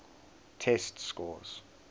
test scores